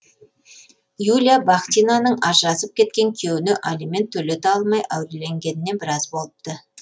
юлия бахтинаның ажырасып кеткен күйеуіне алимент төлете алмай әуреленгеніне біраз болыпты